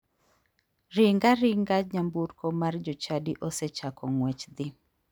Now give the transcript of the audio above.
Ring aringa nyamburko mar jochadi osechako ng'wech dhi.